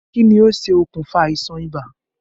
Kí ni ó ṣe okùnfà àìsàn ibà?